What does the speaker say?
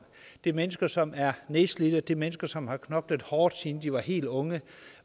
det er mennesker som er nedslidte mennesker som har knoklet hårdt siden de var helt unge